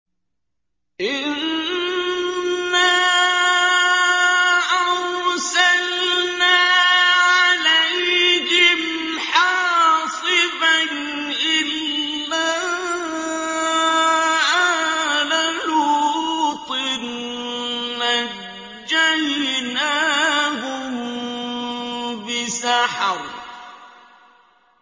إِنَّا أَرْسَلْنَا عَلَيْهِمْ حَاصِبًا إِلَّا آلَ لُوطٍ ۖ نَّجَّيْنَاهُم بِسَحَرٍ